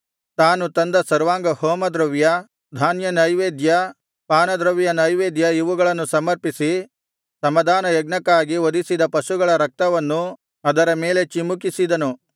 ತಾನು ತಂದ ಸರ್ವಾಂಗಹೋಮದ್ರವ್ಯ ಧಾನ್ಯನೈವೇದ್ಯ ಪಾನದ್ರವ್ಯನೈವೇದ್ಯ ಇವುಗಳನ್ನು ಸಮರ್ಪಿಸಿ ಸಮಾಧಾನಯಜ್ಞಕ್ಕಾಗಿ ವಧಿಸಿದ ಪಶುಗಳ ರಕ್ತವನ್ನು ಅದರ ಮೇಲೆ ಚಿಮುಕಿಸಿದನು